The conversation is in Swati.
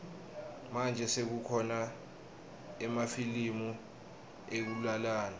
manje sekukhona emafilimu ekulalana